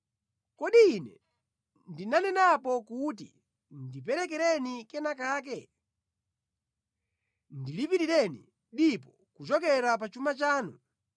Kodi ine ndinanenapo kuti, ‘Ndiperekereni kenakake, ndilipirireni dipo kuchokera pa chuma chanu,